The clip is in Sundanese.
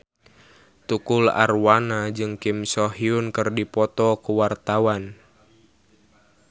Tukul Arwana jeung Kim So Hyun keur dipoto ku wartawan